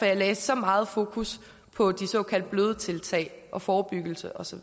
jeg lagde så meget fokus på de såkaldt bløde tiltag og forebyggelse og så